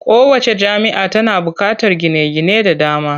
Kowacce jami'a tana buƙatar gine-gine da dama.